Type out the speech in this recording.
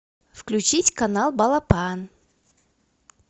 включить канал балапан